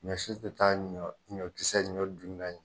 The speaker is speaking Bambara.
Ɲɔsi te taa ɲɔ kisɛ ɲɔ dunan ye